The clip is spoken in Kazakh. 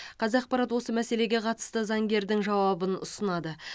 қазақпарат осы мәселеге қатысты заңгердің жауабын ұсынады